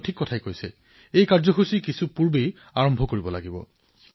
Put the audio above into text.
আপোনাৰ কথা ঠিক এই কাৰ্যসূচীৰ আয়োজন কিছু আগেয়েই কৰা উচিত